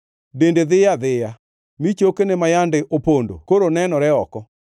Dende dhiyo adhiya, mi chokene ma yande opondo koro nenore oko.